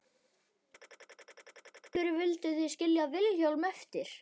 Kristján: Já, en af hverju vildu þið skilja Vilhjálm eftir?